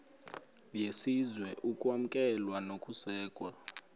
yesizwe ukwamkelwa nokusekwa